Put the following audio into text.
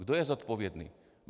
Kdo je zodpovědný?